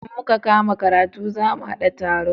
Idan muka kama karatu za mu haɗa taro.